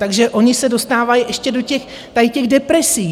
Takže oni se dostávají ještě do těch tady těch depresí.